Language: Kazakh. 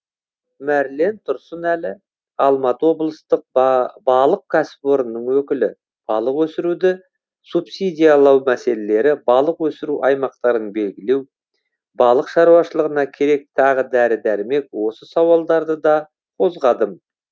мәрлен тұрсынәлі алматы облыстық балық кәсіпорнының өкілі балық өсіруді субсидиялау мәселелері балық өсіру аймақтарын белгілеу балық шаруашылығына керек тағы дәрі дәрмек осы сауалдарды да қозғадым